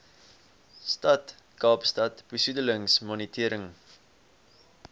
stad kaapstad besoedelingsmonitering